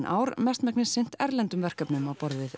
ár mestmegnis sinnt erlendum verkefnum á borð við